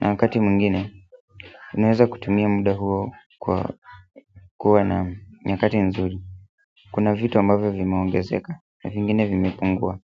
wakati mwingine, ninaweza kutumia muda huo kuwa na nyakati nzuri kuna vitu ambavyo vimeongezeka na vingine vimepungua.